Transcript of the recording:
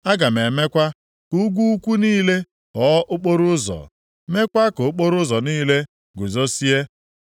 Aga m emekwa ka ugwu ukwu niile ghọọ okporoụzọ, meekwa ka okporoụzọ niile guzozie.